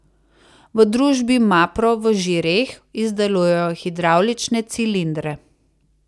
V družbi Mapro v Žireh izdelujejo hidravlične cilindre.